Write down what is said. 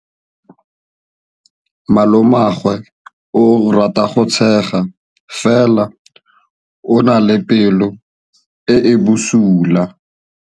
Malomagwe o rata go tshega fela o na le pelo e e bosula.